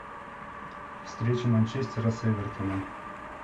встреча манчестера с эвертоном